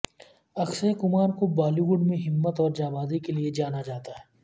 اکشے کمار کو بالی وڈ میں ہمت اور جانبازی کے لیے جانا جاتا ہے